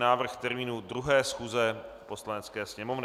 Návrh termínu 2. schůze Poslanecké sněmovny